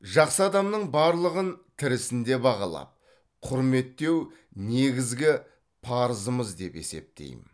жақсы адамның барлығын тірісінде бағалап құрметтеу негізгі парызымыз деп есептеймін